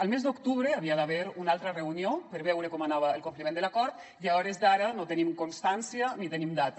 el mes d’octubre hi havia d’haver una altra reunió per veure com anava el compliment de l’acord i a hores d’ara no en tenim constància ni tenim data